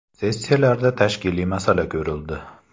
Sessiyalarda tashkiliy masala ko‘rildi.